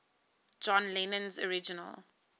john lennon's original